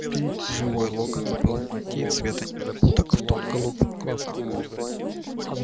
живой локонс был в мантии цвета незабудок в тон голубым глазам